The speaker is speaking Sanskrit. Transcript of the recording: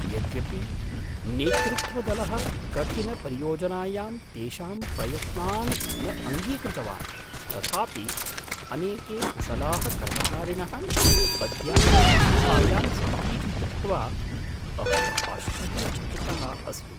यद्यपि नेतृत्वदलः कठिनपरियोजनायां तेषां प्रयत्नान् न अङ्गीकृतवान् तथापि अनेके कुशलाः कर्मचारिणः अद्यापि संस्थायां सन्तीति दृष्ट्वा अहम् आश्चर्यचकितः अस्मि।